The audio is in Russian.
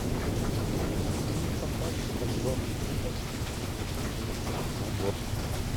фильм фантастика джордж лукас тысяча девятьсот семьдесят седьмой год